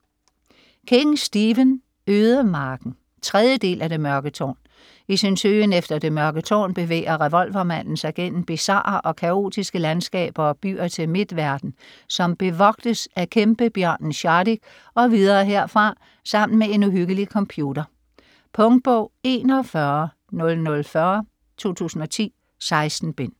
King, Stephen: Ødemarken 3. del af Det mørke tårn. I sin søgen efter det Mørke Tårn bevæger revolvermanden sig gennem bizarre og kaotiske landskaber og byer til Midtverden, som bevogtes af kæmpebjørnen Shardik og videre herfra sammen med en uhyggelig computer. Punktbog 410040 2010. 16 bind.